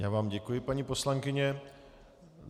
Já vám děkuji, paní poslankyně.